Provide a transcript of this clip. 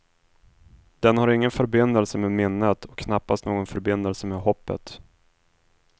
Den har ingen förbindelse med minnet, och knappast någon förbindelse med hoppet.